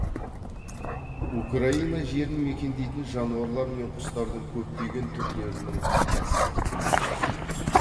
украина жерін мекендейтін жануарлар мен құстардың көптеген түрлерінің кәсіптік маңызы бар